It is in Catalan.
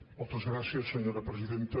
moltes gràcies senyora presidenta